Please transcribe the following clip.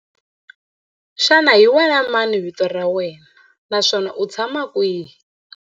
Xana hi wena mani vito ra wena naswona u tshama kwihi?